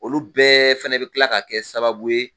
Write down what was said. Olu bɛɛ fɛnɛ bi kila ka kɛ sababu ye